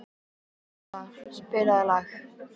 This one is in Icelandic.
Pála, spilaðu lag.